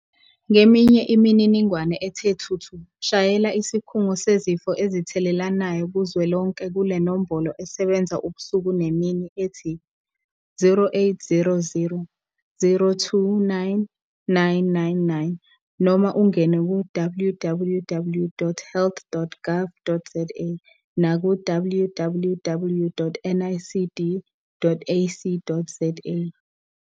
Ngeminye imininingwane ethe thuthu shayela Isikhungo Sezifo Ezithelelanayo Kuzwelonke kule nombolo esebenza ubusuku nemini ethi- 0800 029 999 noma ungene ku- www.health.gov.za naku- www.nicd.ac.za